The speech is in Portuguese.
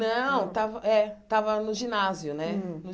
Não, estava é estava no ginásio né Hum